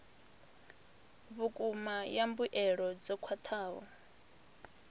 vhukuma ya mbuelo dzo khwathaho